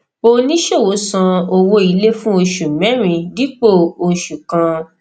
oníṣòwò san owó ilé fún oṣù mẹrin dípò oṣù kan